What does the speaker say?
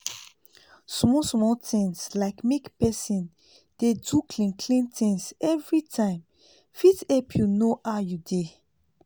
small small things like make pesin dey do clean clean things every time fit help you know how you dey